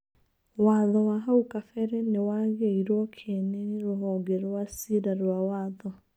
Watho wa hau kabere nĩwagĩirwo kiene nĩ rũhonge rwa cira rwa watho.